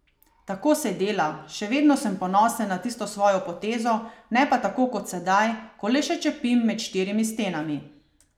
Tako se dela, še vedno sem ponosen na tisto svojo potezo, ne pa tako kot sedaj, ko le še čepim med štirimi stenami.